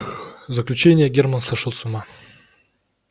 заключение германн сошёл с ума